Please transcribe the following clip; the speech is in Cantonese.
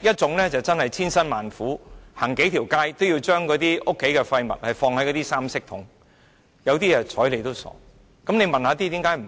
一種是千辛萬苦，走數條街也要把家中的廢物放到三色回收桶，另有些則懶得理會。